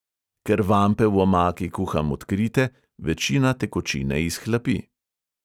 Ker vampe v omaki kuham odkrite, večina tekočine izhlapi.